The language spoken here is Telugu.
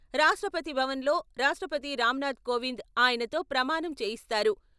రాష్ట్రపతిభవన్లో రాష్ట్రపతి రామ్నాథ్ కోవింద్ ఆయనతో ప్రమాణం చేయిస్తారు.